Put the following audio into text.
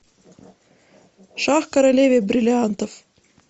шах королеве бриллиантов